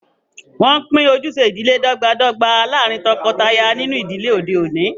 Wọn pin ojúṣẹ̀ idílẹ̀ dọ̀gbàdọ̀gbà lárìn tókọtàyà nínú idílẹ̀ ọdẹ̀ ọ̀ní.